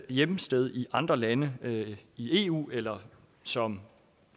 hjemsted i andre lande i eu eller som